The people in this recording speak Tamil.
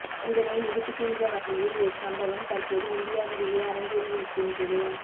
இதனை நிரூபிக்கின்ற வகையில் ஓர் சம்பவம் தற்போது இந்தியாவிலேயே அரங்கேறியிருக்கின்றது